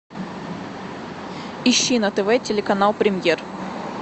ищи на тв телеканал премьер